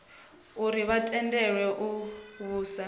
uri vha tendelwe u vhusa